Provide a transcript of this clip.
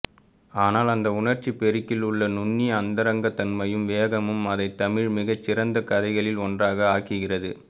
ஆனால் அந்த உணர்ச்சிப்பெருக்கில் உள்ள நுண்ணிய அந்தரங்கத்தன்மையும் வேகமும் அதை தமிழின் மிகச்சிறந்த கதைகளில் ஒன்றாக ஆக்குகிறது